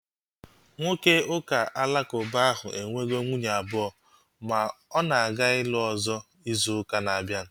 Nwoke ụka alakuba ahu enwego nwunye abụọ ma ọ na-aga ịlụ ọzọ izu ụka na-abịa